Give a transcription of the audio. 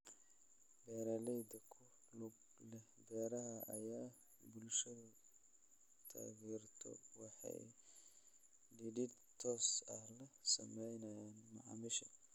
Beeralayda ku lug leh beeraha ay bulshadu taageerto waxay xidhiidh toos ah la sameeyaan macaamiisha.